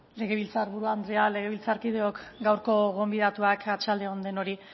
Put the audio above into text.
legebiltzarburu andrea legebiltzarkideok gaurko gonbidatuak arratsalde on denoi